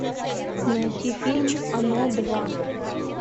найти фильм оно два